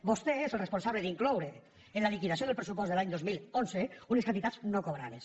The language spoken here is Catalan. vostè és el responsable d’incloure en la liquidació del pressupost de l’any dos mil onze unes quantitats no cobrades